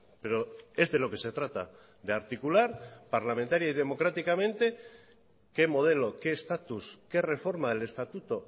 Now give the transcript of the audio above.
pero es de lo que se trata de articular parlamentaria y democráticamente qué modelo qué estatus qué reforma del estatuto